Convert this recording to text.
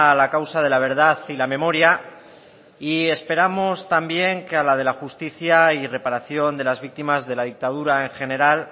la causa de la verdad y la memoria y esperamos también que a la de la justicia y reparación de las víctimas de la dictadura en general